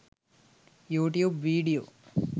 youtube video